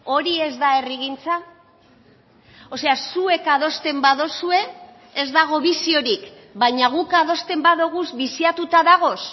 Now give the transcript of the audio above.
hori ez da herrigintza o sea zuek adosten baduzue ez dago biziorik baina guk adosten badugu biziatuta dagoz